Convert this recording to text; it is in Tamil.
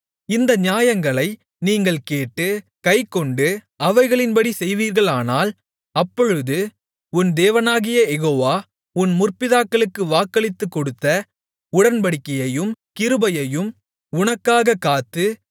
இந்த நியாயங்களை நீங்கள் கேட்டு கைக்கொண்டு அவைகளின்படி செய்வீர்களானால் அப்பொழுது உன் தேவனாகிய யெகோவா உன் முற்பிதாக்களுக்கு வாக்களித்துக் கொடுத்த உடன்படிக்கையையும் கிருபையையும் உனக்காகக் காத்து